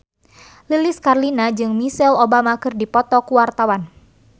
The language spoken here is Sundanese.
Lilis Karlina jeung Michelle Obama keur dipoto ku wartawan